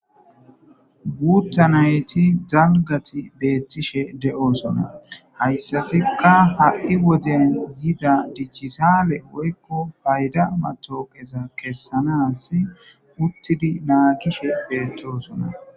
guuta nayti zalgati beettishe de7osona hayssatikka ha7i woden yida dichisaale woykko payda matokeza kessanas uttidi naakishe beeththosona